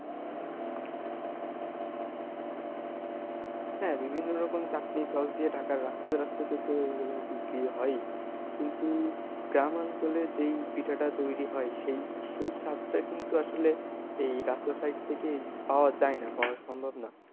হ্যাঁ বিভিন্ন রকম চাটনি sauce দিয়ে ঢাকার রাস্তাতে রাস্তাতে তো এইগুলো বিক্রি হয়ই কিন্তু গ্রাম অঞ্চলে যেই পিঠাটা তৈরি হয় সেই সেই স্বাদটা কিন্তু আসলে এই রাস্তার side থেকে পাওয়া যায়না, পাওয়া সম্ভব না।